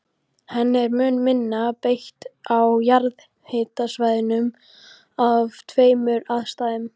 Henni er mun minna beitt á jarðhitasvæðum af tveimur ástæðum.